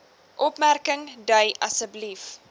opmerking dui asb